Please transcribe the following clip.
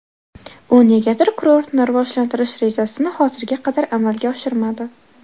U negadir kurortni rivojlantirish rejasini hozirga qadar amalga oshirmadi.